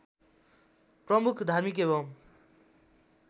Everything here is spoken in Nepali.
प्रमुख धार्मिक एवं